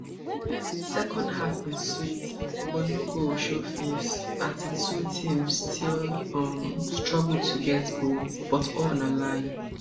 second half bin sweet but no goal show face as di two teams still um struggle to get goal but all na lie